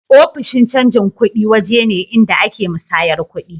Ofishin canji kudi waje ne inda a ke musayyar kudi